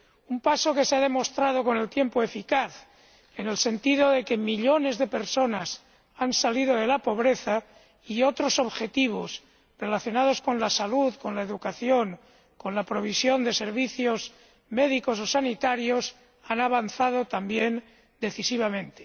Un paso que se ha demostrado, con el tiempo, eficaz, en el sentido de que millones de personas han salido de la pobreza, y otros objetivos relacionados con la salud, con la educación, con la provisión de servicios médicos o sanitarios han avanzado también decisivamente.